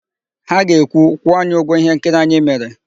Ha ga-ekwu, "kwụọ anyị ụgwọ íhénkiri anyị mere"!